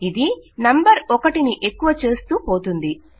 ఇది నంబరును 1 ఎక్కువ చేస్తూ పోతుంది